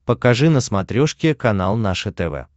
покажи на смотрешке канал наше тв